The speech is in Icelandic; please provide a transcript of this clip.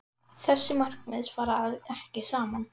Þessi markmið fara ekki saman.